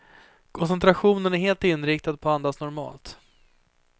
Koncentrationen är helt inriktad på att andas normalt.